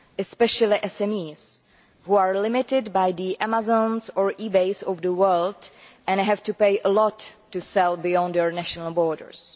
especially SMEs, which are limited by the Amazons and eBays of the world and have to pay a lot to sell beyond our national borders.